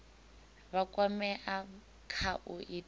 vha kwamea kha u ita